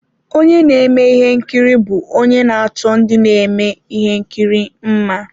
Onye na-eme ihe nkiri bụ onye na-achọ ndị na-eme ihe nkiri mma.